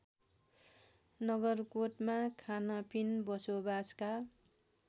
नगरकोटमा खानपिन बसोबासका